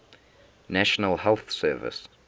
national health service